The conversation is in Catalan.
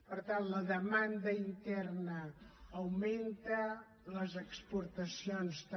per tant la demanda interna augmenta les exportacions també